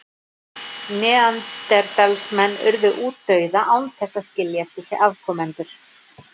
Neanderdalsmenn urðu útdauða án þess að skilja eftir sig afkomendur.